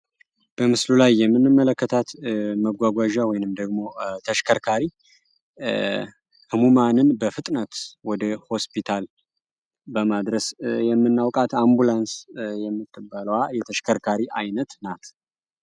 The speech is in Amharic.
በምስሉ ላይ የምንመለከታት መጓጓዣ ወይንም ደግሞ ተሽከርካሪ ህሙማንን በፍጥነት ወደ ሆስፒታል በማድረስ የምናውቃት አምቡላንስ የምትባልዋ የተሽከርካሪ አይነት ናት።